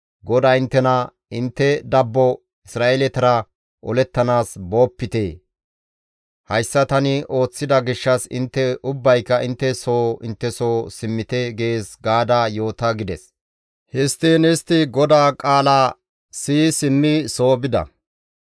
GODAY inttena, ‹Intte dabbo Isra7eeletara olettanaas boopite. Hayssa tani ooththida gishshas intte ubbayka intte soo intte soo simmite› gees gaada yoota» gides. Histtiin istti GODAA qaala siyi simmi soo bida.